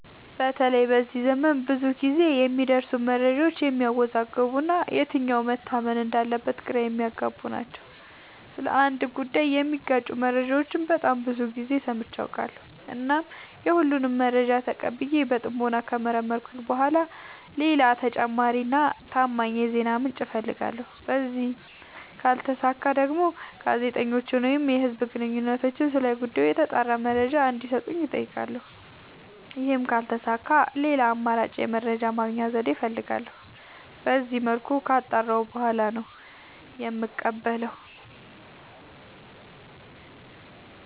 በተለይ በዚህ ዘመን ብዙ ግዜ የሚደርሱን መረጃዎች የሚያዎዛግቡ እና የትኛው መታመን እንዳለበት ግራ የሚያገቡ ናቸው። ስለ አንድ ጉዳይ የሚጋጩ መረጃዎችን በጣም ብዙ ግዜ ሰምቼ አውቃለሁ። እናም የሁሉንም መረጃ ተቀብዬ በጥሞና ከመረመርኩኝ በኋላ ሌላ ተጨማሪ እና ታማኝ የዜና ምንጭ አፈልጋለሁ። በዚህም ካልተሳካ ደግሞ ጋዜጠኞችን ወይም የህዝብ ግንኙነቶችን ስለ ጉዳዩ የተጣራ መረጃ እንዲ ሰጡኝ አጠይቃለሁ። ይህም ካልተሳካ ሌላ አማራጭ የመረጃ የማግኛ ዘዴ እፈልጋለሁ። በዚመልኩ ካጣራሁ በኋላ ነው የምቀበለው።